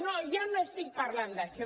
no jo no estic parlant d’això